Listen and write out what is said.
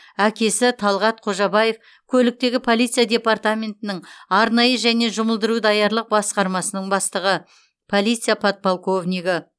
әкесі талғат қожабаев көліктегі полиция департаментінің арнайы және жұмылдыру даярлық басқармасының бастығы полиция подполковнигі